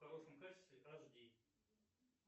в хорошем качестве аш ди